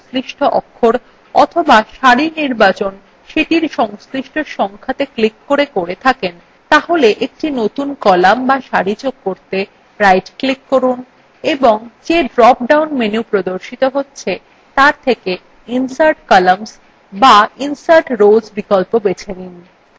যদি আপনি columnএর নির্বাচন তার সংশ্লিষ্ট অক্ষরa অথবা সারির নির্বাচন সেটির সংশ্লিষ্ট সংখ্যাত়ে click করে করে থাকেন তাহলে একটি নতুন column বা সারি যোগ করতে right click করুন এবং যে drop down menu প্রদর্শিত হচ্ছে তার থেকে insert columns বা insert rows বিকল্প বেছে নিন